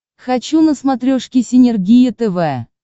хочу на смотрешке синергия тв